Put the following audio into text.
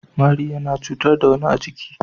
Mari yana cutar da wani a jiki.